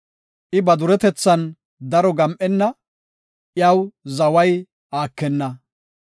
I ba duretethan daro gam7enna; iya zaway aakenna.